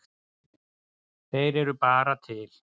Þeir eru bara til.